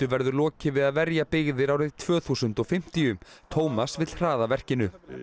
verður lokið við að verja byggðir árið tvö þúsund og fimmtíu Tómas vill hraða verkinu